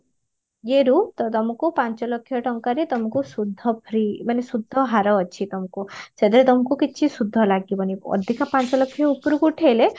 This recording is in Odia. ଇଏରୁ ତ ତମକୁ ପାଞ୍ଚ ଲକ୍ଷ ଟଙ୍କାରେ ତମକୁ ସୁଧ free ମାନେ ସୁଧ ହାର ଅଛି ତମକୁ ସେଥିରେ ତମକୁ କିଛି ସୁଧ ଲାଗିବନି ଅଧିକ ପାଞ୍ଚଲକ୍ଷ ଉପରକୁ ଉଠେଇଲେ